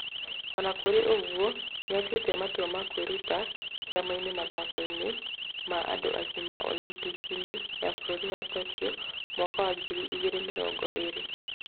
Ona kũrĩ ũguo nĩatuĩte matua na kwĩruta kaimana mathako-inĩ ma andũ agima Olimpiki -inĩ ya bũrũri wa Tokyo mwaka wa ngiri igĩrĩ mĩrongo ĩrĩ